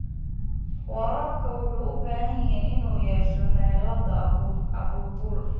Waraabka wuxuu u baahan yahay inuu yeesho xeelado abaabul.